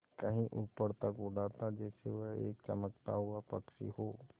कहीं ऊपर तक उड़ाता जैसे वह एक चमकता हुआ पक्षी हो